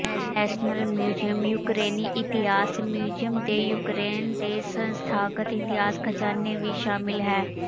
national museum ਯੂਕਰੇਨੀ ਇਤਿਹਾਸ museum ਦੇ ਯੂਕਰੇਨ ਦੇ ਸੰਸਥਾਗਤ ਇਤਿਹਾਸਕ ਖ਼ਜ਼ਾਨੇ ਵੀ ਸ਼ਾਮਲ ਹੈ